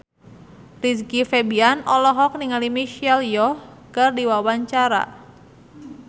Rizky Febian olohok ningali Michelle Yeoh keur diwawancara